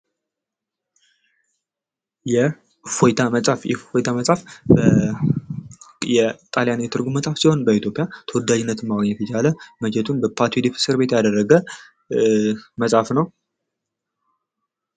የእፎይታ መፅሐፍ የእፎይታ መፅሐፍ የጣሊያን የትርጉም መፅሐፍ ሲሆን ተወዳጅነትን ማግኘት የቻለ መቼቱን በፓትዮድክ እስር ቤት ያደረገ መፅሐፍ ነው::